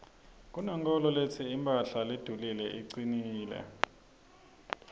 kunenkholo letsi imphahla ledulile icinile